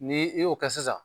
N' i y'o kɛ sisan.